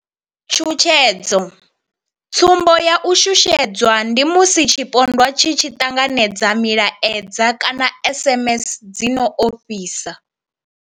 Tshutshedzo tsumbo ya u shushedzwa ndi musi tshipondwa tshi tshi ṱanganedza milaedza kana SMS dzi no ofhisa.